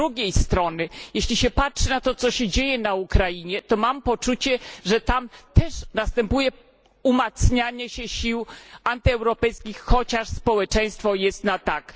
Z drugiej strony, jeśli się patrzy na to, co się dzieje na Ukrainie, to mam poczucie, że tam też następuje umacnianie się sił antyeuropejskich, chociaż społeczeństwo jest na tak.